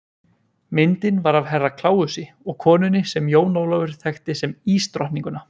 Myndin var af Herra Kláusi og konunni sem Jón Ólafur þekkti sem ísdrottninguna.